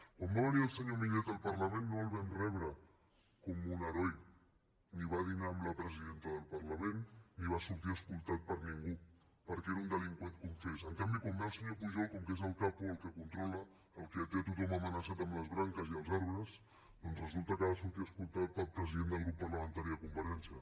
quan va venir el senyor millet al parlament no el vam rebre com un heroi ni va dinar amb la presidenta del parlament ni va sortir escortat per ningú perquè era un delinqüent confés en canvi quan ve el senyor pujol com que és el capoque té a tothom amenaçat amb les branques i els arbres doncs resulta que ha de sortir escortat pel president del grup parlamentari de convergència